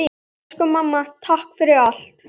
Elsku mamma, takk fyrir allt!